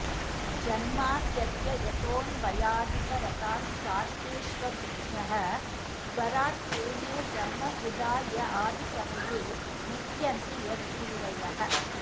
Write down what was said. जन्माद्यस्य यतोऽन्वयादितरतश्चार्थेष्वभिज्ञः स्वराट् तेने ब्रह्महृदा य आदिकवये मुह्यन्ति यत्सूरयः